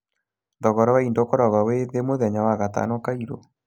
Thogora wa indo ũkoragwo wĩ thĩ mũthenya wa 'wagatano kairũ'